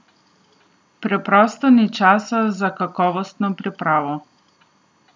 Preprosto ni časa za kakovostno pripravo.